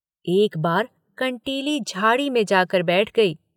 एक बार कंटीली झाड़ी में जाकर बैठ गई।